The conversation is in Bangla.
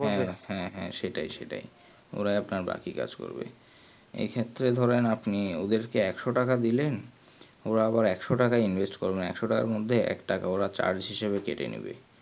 হ্যাঁ হ্যাঁ সেটাই সেটাই ওরাই আপনার বাকি কাজ করবে এই ক্ষেত্রে ধরেন আপনি ওদেরকে একশো টাকা দিলেন োর আবার একশো টাকা invest করে না একশো টাকার মধ্যে একটাকা োর charge হিসেবে কেটে নেবে